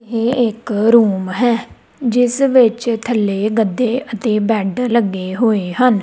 ਇਹ ਇੱਕ ਰੂਮ ਹੈ ਜਿਸ ਵਿੱਚ ਥੱਲੇ ਗੱਦੇ ਅਤੇ ਬੈਡ ਲੱਗੇ ਹੋਏ ਹਨ।